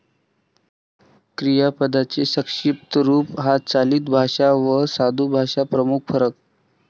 क्रियापदांचे संक्षिप्त रूप हा चालितभाषा वा साधुभाषा प्रमुख फरक.